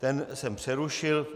Ten jsem přerušil.